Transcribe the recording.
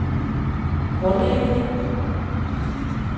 grundlæggende